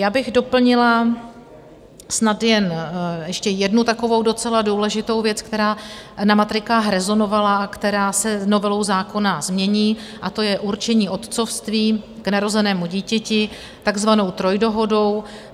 Já bych doplnila snad jen ještě jednu takovou docela důležitou věc, která na matrikách rezonovala a která se novelou zákona mění, a to je určení otcovství k narozenému dítěti takzvanou trojdohodou.